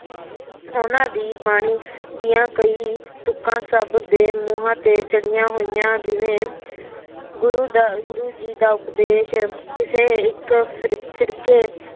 ਉਹਨਾ ਦੀ ਬਾਣੀ ਦੀਆ ਕਈ ਤੁਕਾ ਸਭ ਦੇ ਮੂਹਾ ਤੇ ਚੜਿਆ ਹੋਇਆ ਜਿਵੇ ਗੁਗੂ ਦਾ ਗੁਰੂ ਜੀ ਦਾ ਉਪਦੇਸ਼ ਕਿਸੇ ਇਕ ਫਿਰਕੇ